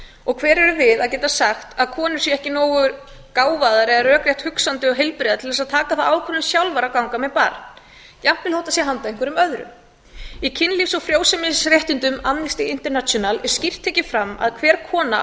og hver erum við að geta sagt að konur séu ekki nógu gáfaðar eða rökrétt hugsandi og heilbrigðar til að taka þá ákvörðun sjálfar að ganga með barn jafnvel þó það sé handa einhverjum öðrum í kynlífs og frjósemisréttindum amnesty international er skýrt tekið fram að hver kona á að